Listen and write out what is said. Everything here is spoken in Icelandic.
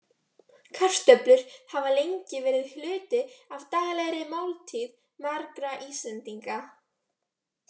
Kartöflur hafa lengi verið hluti af daglegri máltíð margra Íslendinga.